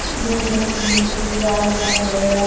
बुरे रंग की रास्ता है--